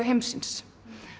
heimsins